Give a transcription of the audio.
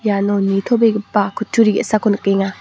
nitobegipa kutturi ge·sako nikenga.